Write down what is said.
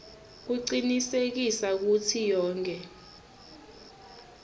kucinisekisa kutsi yonkhe